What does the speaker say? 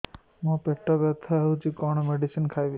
ମୋର ପେଟ ବ୍ୟଥା ହଉଚି କଣ ମେଡିସିନ ଖାଇବି